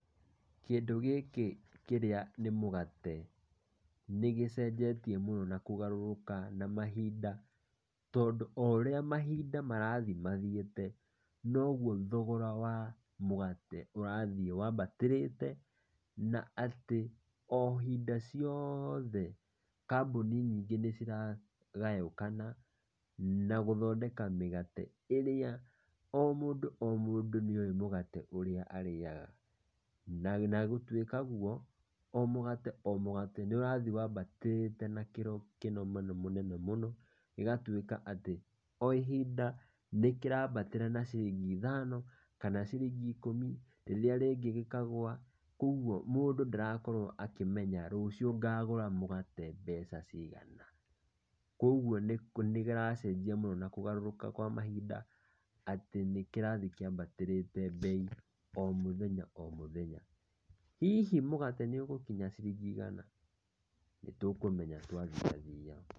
Kĩndũ gĩkĩ kĩrĩa nĩ mũgate, nĩgĩcenjetie mũno na kũgaruruka na mahinda, tondũ o ũrĩa mahinda marathiĩ mathiĩte, nogwo thogora wa mũgate ũrathiĩ wabatĩrĩte na atĩ o hinda ciothe kambũni nyingĩ nĩ ciragayukana na gũthondeka mũgate ũrĩa o mũndũ o mũndũ nĩoĩ mũgate ũrĩa arĩaga, na gũtwĩka guo o mũgate o mũgate nĩ ũrathiĩ wabatĩrĩte na kĩro mũnene mũno, na gũgatwĩka atĩ o ihinda nĩ kĩrabatĩra na ciringi ithano kana ciringi ikumi, rĩrĩa rĩngĩ gĩkagua, kũgwo ruciu mũndũ ndarakorwo akĩmenya rucio ngagũra mũgate mbeca cigana, kũgwo nĩ kĩracenjia mũno na kũgarũrũka kwa mahinda , atĩ nĩkĩrathiĩ kĩambatĩrĩte mbei o mũthenya o mũthenya, hihi mũgate nĩ ũgũkinya ciringi igana? nĩtũkũmenya twa thiathia.